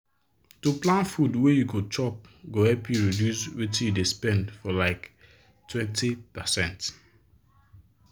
to plan food wey you go chop go help you reduce wetin you dey spend for like 20%.